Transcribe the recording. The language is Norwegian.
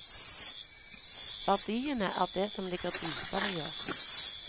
Verdiene er det som ligger dypere i oss.